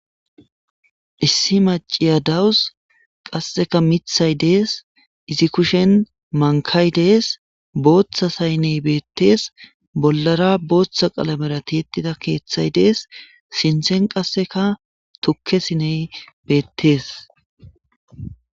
issi maciya dawus qasseka mithay dees izi kushen mankay dees booththa saynney beettees bollara booththa qalamera tietida keeththay dees sinthen qasseka tukkesiney beettees